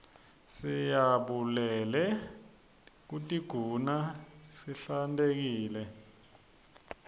siyabulele kutiguna sihlantekile